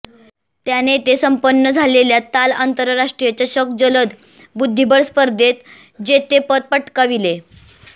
त्याने येथे संपन्न झालेल्या ताल आंतरराष्ट्रीय चषक जलद बुद्धीबळ स्पर्धेत जेतेपद पटकाविले